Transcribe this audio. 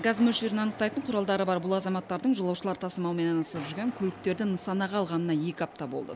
газ мөлшерін анықтайтын құралдары бар бұл азаматтардың жолаушылар тасымалымен айналысып жүрген көліктерді нысанаға алғанына екі апта болды